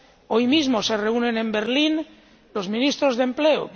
Hoy mismo se reúnen en Berlín los ministros de empleo.